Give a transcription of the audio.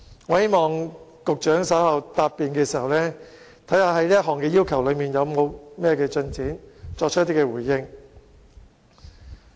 我希望局長稍後在答辯的時候，會就這項要求的進展，作出回應。